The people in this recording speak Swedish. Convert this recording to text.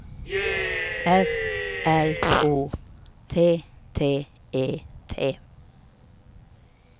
S L O T T E T